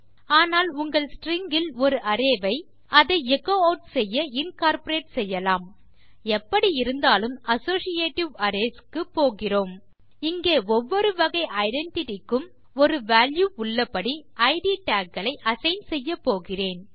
ஆனால் உங்கள் ஸ்ட்ரிங் இல் ஒரு அரே வை அதை எச்சோ ஆட் செய்ய இன்கார்ப்பரேட் செய்யலாம் எப்படி இருந்தாலும் அசோசியேட்டிவ் அரேஸ் க்குப்போகிறோம் இங்கே ஒவ்வொரு வகை ஐடென்டிட்டி க்கும் ஒரு வால்யூ உள்ளபடி இட் டாக் களை அசைன் செய்யப்போகிறோம்